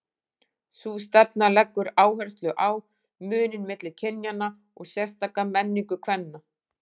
Sú stefna leggur áherslu á muninn milli kynjanna og sérstaka menningu kvenna.